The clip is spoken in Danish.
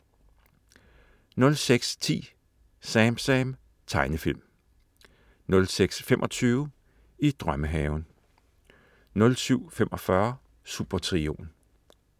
06.10 SamSam. Tegnefilm 06.25 I drømmehaven 07.45 Supertrioen